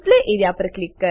display A R E A